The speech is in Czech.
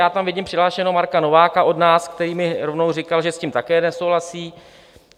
Já tam vidím přihlášeného Marka Nováka od nás, který mi rovnou říkal, že s tím také nesouhlasí.